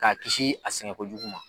K'a kisi a sɛgɛn kojugu ma.